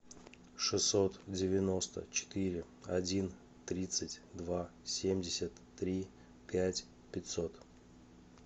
шестьсот девяносто четыре один тридцать два семьдесят три пять пятьсот